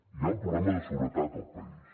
hi ha un problema de seguretat al país